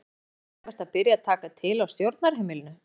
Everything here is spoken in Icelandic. Væri ekki nærtækast að byrja að taka til á stjórnarheimilinu?